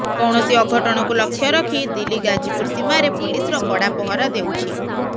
କୌଣସି ଅଘଟଣକୁ ଲକ୍ଷ୍ୟ ରଖି ଦିଲ୍ଲୀ ଗାଜିପୁର ସୀମାରେ ପୋଲିସର କଡ଼ା ପହରା ଦେଉଛି